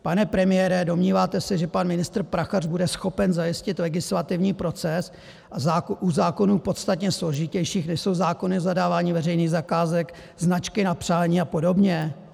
Pane premiére, domníváte se, že pan ministr Prachař bude schopen zajistit legislativní proces u zákonů podstatně složitějších, než jsou zákony o zadávání veřejných zakázek, značky na přání a podobně?